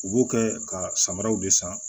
U b'o kɛ ka samaraw de san